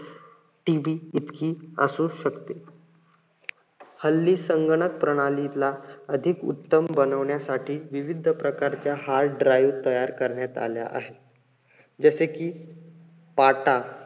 TB इतकं असू शकते. हल्ली संगणक प्रणालीला उत्तम बनवण्यासाठी विविध प्रकारच्या hard drive तयार करण्यात आल्या आहेत. जसे कि PATA